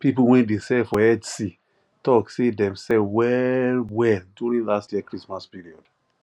people wey dey sell for etsy talk say dem sell well well during last year christmas period